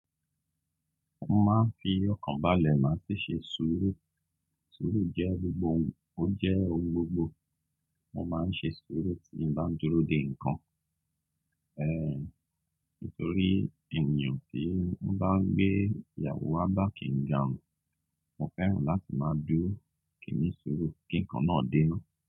Mo máa ń fi ọkàn balẹ̀ máa ṣe ṣé sùúrù. Sùúrù jẹ́ gbogbo ohun, ó jẹ́ ohun gbogbo. Mo máa ń ṣe sùúrù tí n bá dúró dè nǹkan. Ehn, nítorí ènìyàn tí wọ́n bá gbé ìyàwó wa bá kì garun, mo fẹ́ràn láti máa dúró kí nu ṣúúrù kí nǹkan náà dé ná.